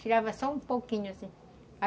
Tirava só um pouquinho, assim.